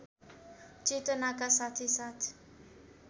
चेतनाका साथै साथ